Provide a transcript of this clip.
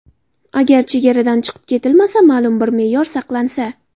Agar chegaradan chiqib ketilmasa, ma’lum bir me’yor saqlansa.